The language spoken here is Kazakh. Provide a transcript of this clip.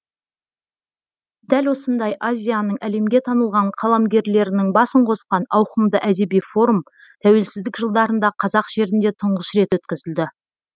дәл осындай азияның әлемге танылған қаламгерлерінің басын қосқан ауқымды әдеби форум тәуелсіздік жылдарында қазақ жерінде тұңғыш рет өткізілді